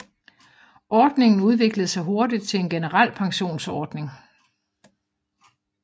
Ordningen udviklede sig hurtigt til en generel pensionsordning